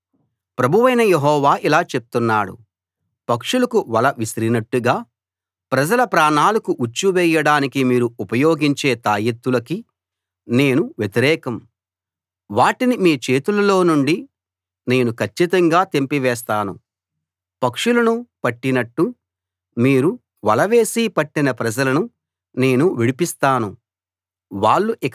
కాబట్టి ప్రభువైన యెహోవా ఇలా చెప్తున్నాడు పక్షులకు వల విసిరినట్టుగా ప్రజల ప్రాణాలకు ఉచ్చు వేయడానికి మీరు ఉపయోగించే తాయెత్తులకి నేను వ్యతిరేకం వాటిని మీ చేతులనుండి నేను కచ్చితంగా తెంపి వేస్తాను పక్షులను పట్టినట్టు మీరు వల వేసి పట్టిన ప్రజలను నేను విడిపిస్తాను